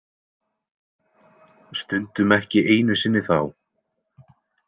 Stundum ekki einu sinni þá.